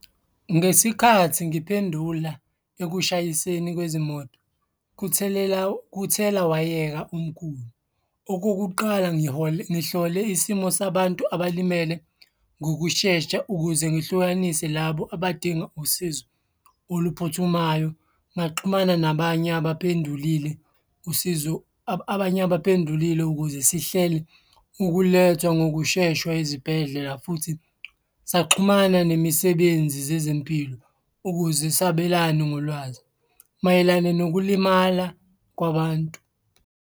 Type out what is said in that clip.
Ngesikhathi ngiphendula ekushayiseni kwezimoto kuthelela kuthelawayeka omkhulu. Okokuqala ngihlole isimo sabantu abalimele ngokushesha ukuze ngihlukanise labo abadinga usizo oluphuthumayo. Ngaxhumana nabanye abaphendulile usizo abanye abaphendulile ukuze sihlele ukulethwa ngokusheshwa ezibhedlela, futhi saxhumana nemisebenzi zezempilo ukuze sabelane ngolwazi mayelana nokulimala kwabantu.